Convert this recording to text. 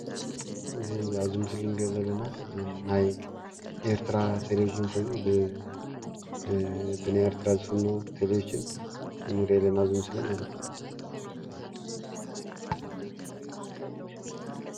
እዚ ኣብ ምስሊ እንሪኦ ዘለና ናይ ኤርትራ ቴሌቭዥን ኮይኑ ብ ብናይ ኤርትራ ዝፈነው ቴሌብቭዥን ንርኢ ኣለና ኣብዚ ምስሊ ማለት እዩ፡፡